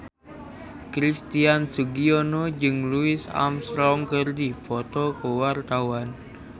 Christian Sugiono jeung Louis Armstrong keur dipoto ku wartawan